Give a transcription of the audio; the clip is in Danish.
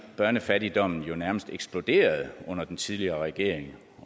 børnefattigdommen jo nærmest eksploderede under den tidligere regering